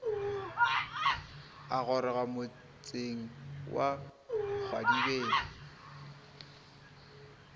a goroga motseng wa kgwadibeng